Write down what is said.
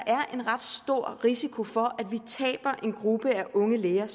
er en ret stor risiko for at vi taber en gruppe unge læger